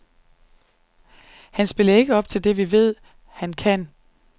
Han spillede nemlig ikke op til det, vi ved, han kan.